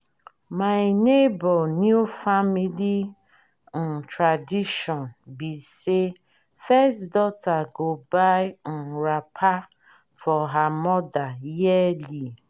my nebor new family um tradition be say first daughter go buy um wrapper for her mother yearly.